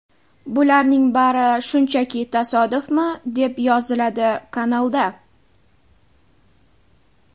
Bularning bari shunchaki tasodifmi?”, deb yoziladi kanalda.